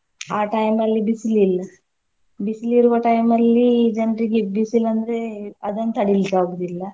ಆ time ಅಲ್ಲಿ ಬಿಸ್ಲ್ ಇಲ್ಲ. ಬಿಸ್ಲ್ ಇರುವ time ಅಲ್ಲಿ ಜನ್ರಿಗೆ ಬಿಸಿಲ್ ಅಂದ್ರೆ ಅದನ್ನ್ ತಡಿಲಿಕ್ಕ್ ಆಗುದಿಲ್ಲ.